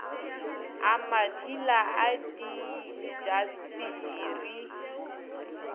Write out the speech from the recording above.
a mat hila a diintasteri